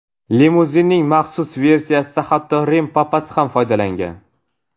Limuzinning maxsus versiyasidan hatto Rim papasi ham foydalangan.